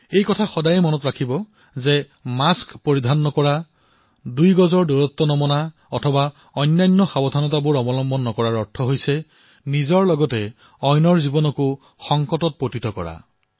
এই কথাটো সদায়েই মনত ৰাখিব যে যদি আপুনি মাস্ক নিপিন্ধে দুই গজৰ দূৰত্ব পালন নকৰে অথবা অন্যান্য সাৱধানতা পালন নকৰে তেন্তে আনকো বিপদত পেলাইছে